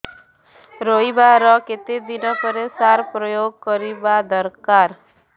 ରୋଈବା ର କେତେ ଦିନ ପରେ ସାର ପ୍ରୋୟାଗ କରିବା ଦରକାର